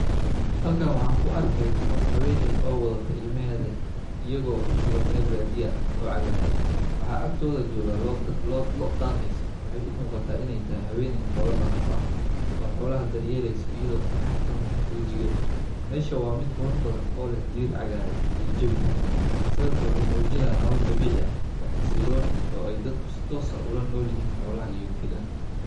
Halkan waxan ku arkeyna qof haweney oo wadato ilmaheda iyago tahay meel badiya ah waxaa agtodha joga lo daqeysa waxee u muqataa in ee tahay haqeney xola daqaneyso meshan waa meel mid qurux badan oo leh dabici sawirkan wuxuu mujinaya xasilon dadka ee ola nolyihin xasiloni.